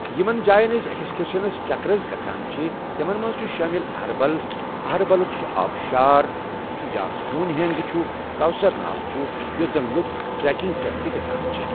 یِمن جاین أسۍ اٮ۪کٕٮسکرشنس چکرس گژھان چِھ تِمن منٛز چِھ شٲمل أہربل، أہربَلُک سُہ آبشار چھُ یا ہوٗنۍ ہٮ۪نٛگ چھُ کوثر ناگ چھُ یوٚت زن لوٗکھ ٹریکِنٛگ پٮ۪ٹھ تہِ گژھان چھِ ۔